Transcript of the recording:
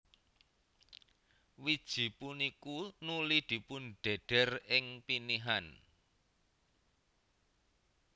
Wiji punikuy nuli dipundhedher ing pinihan